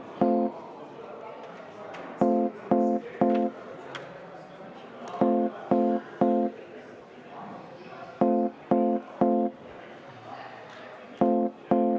V a h e a e g